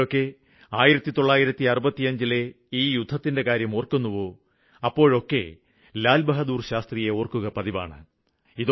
എപ്പോഴൊക്കെ 1965ലെ ഈ യുദ്ധത്തിന്റെ കാര്യം ഓര്ക്കുന്നുവോ അപ്പോഴൊക്കെ ലാല് ബഹാദൂര് ശാസ്ത്രിയെ ഓര്ക്കുക പതിവാണ്